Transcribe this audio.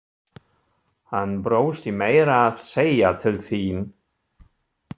Hann brosti meira að segja til þín.